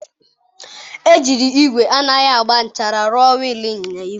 Ejiri igwe anaghị agba nchara rụọ wil inyịnya igwe.